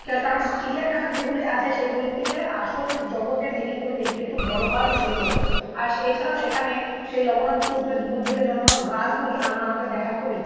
কারণ চিড়িয়াখানা যেগুলি আছে সেগুলির থেকে আসল জগতের জিনিসগুলি দেখতে একটু বড় হয় সুন্দর হয় আর এছাড়াও সেখানে সেই লবনাক্ত উদ্ভিউদ্ভিদে জন্মানো গাছগুলি আমরা আমাদের দেখার খুব ইচ্ছে